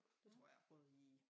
Jeg tror jeg har prøvet i